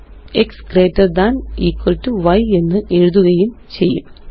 x greater than equal to y എന്ന് എഴുതുകയും ചെയ്യും